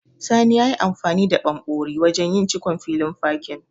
Sani yayi amfani da ɓanɓori wajen yin cikon filin fakin.